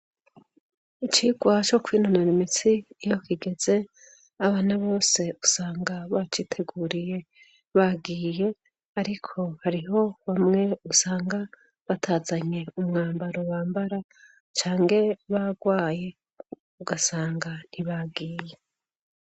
Icigwa co kwinonara imitsi iyo kigeze abana bose usanga baciteguriye bagiye ariko hariho bamwe usanga batazanye umwambaro bambara cange bagwaye ugasanga ntibagiye.